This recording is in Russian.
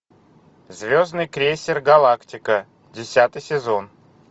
звездный крейсер галактика десятый сезон